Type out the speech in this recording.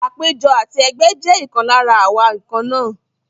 Àpéjọ àti ẹgbẹ́ jẹ́ ìkan lára àwa nǹkan náà.